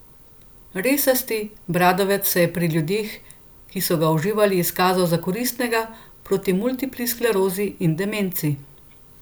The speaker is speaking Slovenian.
Resasti bradovec se je pri ljudeh, ki so ga uživali, izkazal za koristnega proti multipli sklerozi in demenci.